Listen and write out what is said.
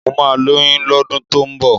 Mo máa lóyún lọ́dún tó ń bọ́.